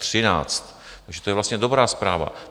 Takže to je vlastně dobrá zpráva.